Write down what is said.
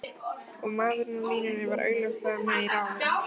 Og maðurinn á línunni var augljóslega með í ráðum.